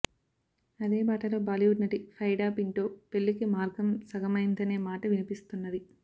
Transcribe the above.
అదే బాటలో బాలీవుడ్ నటి ఫైడా పింటో పెళ్లికి మార్గం సగమమైందనే మాట వినిపిస్తున్నది